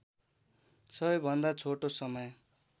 सबैभन्दा छोटो समय